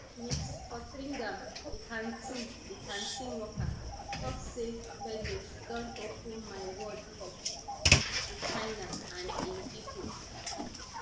ms fotheringam di canteen di canteen worker tok say rednote don open my world up to china and im pipo